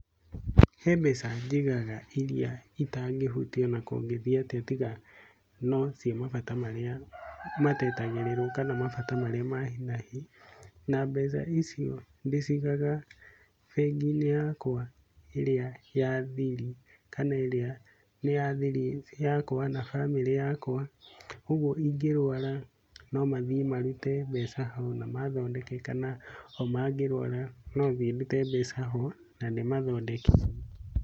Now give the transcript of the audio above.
He mbeca njigaga irĩa itangĩhutia o na kũngĩthiĩ atĩa tiga no cia mabata marĩa matetagĩrĩrwo kana mabata marĩa ma hi na hi. Na mbeca icio ndĩcigaga bengi-inĩ yakwa ĩrĩa ya thiri kana ĩrĩa nĩ ya thiri yakwa na bamĩrĩ yakwa, ũguo ingĩrũara no mathiĩ marute mbeca hau na mathondeke kana o mangĩrũara no thiĩ ndũte mbeca ho na ndĩmathondeke.